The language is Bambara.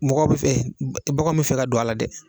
Mɔgɔ bɛ fɛ baganw bɛ fɛ ka don a la dɛ